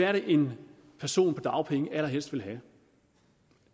er det en person på dagpenge allerhelst vil have